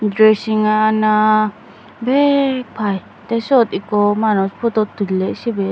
dressingano bek pai tey siyot ikko manuj photut tulley sibey.